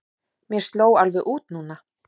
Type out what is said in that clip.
Mér sló alveg út núna.